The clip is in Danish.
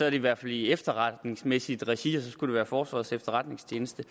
i hvert fald i efterretningsmæssigt regi og så skulle det være forsvarets efterretningstjeneste